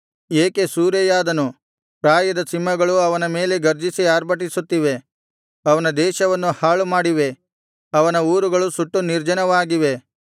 ಏಕೆ ಸೂರೆಯಾದನು ಪ್ರಾಯದ ಸಿಂಹಗಳು ಅವನ ಮೇಲೆ ಗರ್ಜಿಸಿ ಆರ್ಭಟಿಸುತ್ತಿವೆ ಅವನ ದೇಶವನ್ನು ಹಾಳುಮಾಡಿವೆ ಅವನ ಊರುಗಳು ಸುಟ್ಟು ನಿರ್ಜನವಾಗಿವೆ